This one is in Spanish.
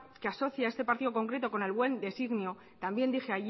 que asocia a este partido concreto con el buen designio también dije